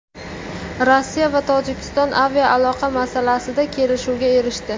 Rossiya va Tojikiston aviaaloqa masalasida kelishuvga erishdi.